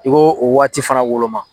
N y'o waati fana woloma.